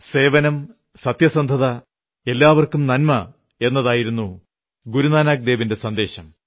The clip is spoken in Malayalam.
സേവനം സത്യസന്ധത എല്ലാവർക്കും നന്മ എന്നതായിരുന്നു ഗുരു നാനക് ദേവിന്റെ സന്ദേശം